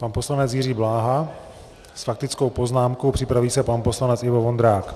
Pan poslanec Jiří Bláha s faktickou poznámkou, připraví se pan poslanec Ivo Vondrák.